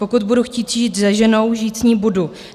Pokud budu chtít žít se ženou, žít s ní budu.